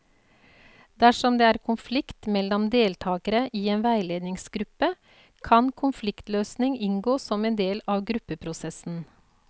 Dersom det er konflikt mellom deltakere i en veiledningsgruppe, kan konfliktløsning inngå som en del av gruppeprosessen.